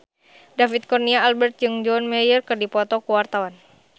David Kurnia Albert jeung John Mayer keur dipoto ku wartawan